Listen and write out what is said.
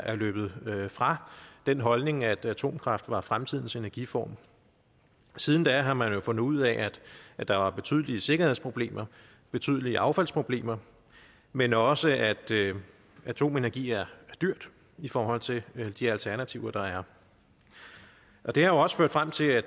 er løbet fra den holdning at atomkraft er fremtidens energiform siden da har man jo fundet ud af at der er betydelige sikkerhedsproblemer betydelige affaldsproblemer men også at atomenergi er dyrt i forhold til de alternativer der er det har også ført frem til at